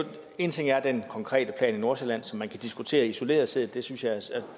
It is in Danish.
en ting er den konkrete plan i nordsjælland som man kan diskutere isoleret set isoleret set